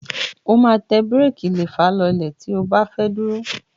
O máa tẹ búréékí lẹfà lọlẹ̀ tí o bá fẹ́ dúró.